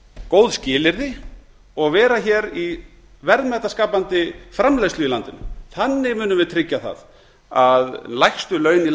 góð skilyrði og vera hér í verðmætaskapandi framleiðslu í landinu þannig munum við tryggja það að lægstu laun í